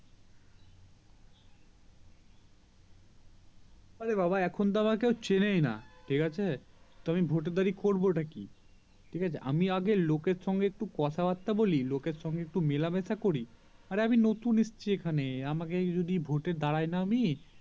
অরে বাবা এখন তো আমাকে কেও চেনেই না ঠিকাছে তো আমি ভোট দাঁড়িয়ে করবো তা কি ঠিকাছে আমি আগে লোক এর সঙ্গে একটু কথা বার্তাটা বলি লোকের সঙ্গে মেলামেশা করি অরে আমি নতুন এসেছি এখানে আমাকে যদি ভোট দাঁড়ায় না আমি